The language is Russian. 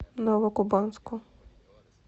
новокубанску